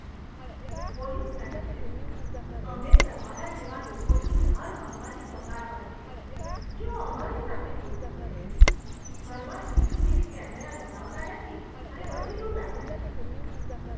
Police કહે છે, અમે તમારા જેવા લોકોથી હાર માનવાની કગાર પર છીએ, જેઓ અમારી સાથે જૂઠ બોલે છે, ઘરમાં સીસીટીવી કેમેરા લગાવતા નથી અને પછી લૂંટાઈ જાય છે.